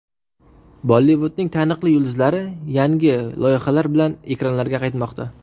Bollivudning taniqli yulduzlari yangi loyihalar bilan ekranlarga qaytmoqda.